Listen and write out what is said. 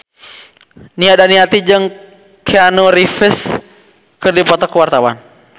Nia Daniati jeung Keanu Reeves keur dipoto ku wartawan